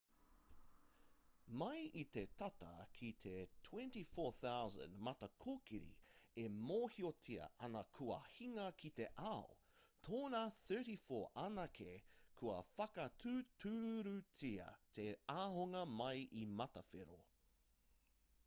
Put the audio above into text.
mai i te tata ki te 24,000 matakōkiri e mōhiotia ana kua hinga ki te ao tōna 34 anake kua whakatūturutia te ahunga mai i matawhero